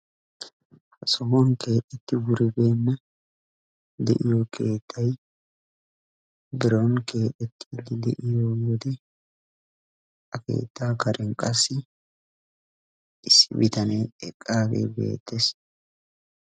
Ha sohuwan keexetti wuribeenna de'iyo keettay biron kexettiyage deiyo wode ha keettaa karen qassi issi bitanee eqagee beettees.